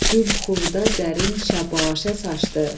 gül xurda zərin şəbaşə saçdı.